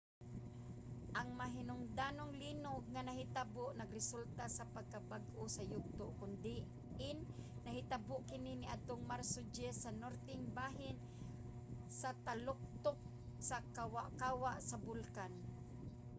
ang mahinungdanong linog nga nahitabo nagresulta sa pagkabag-o sa yugto kon diin nahitabo kini niadtong marso 10 sa norteng bahin sa taluktok sa kawa-kawa sa bulkan